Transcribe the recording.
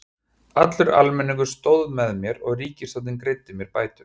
Allur almenningur stóð með mér og ríkisstjórnin greiddi mér bætur.